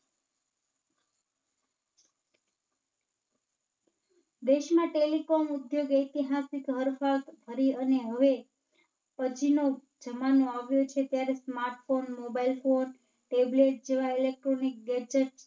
દેશમાં Telephone ઉદ્યોગ ઐતિહાસિક હરણફાળ ભરી અને હવે પછીના જમાનો આવ્યો છે ત્યારે Smartphone, Mobile Phone, Tablet જેવા Electronic Gadgets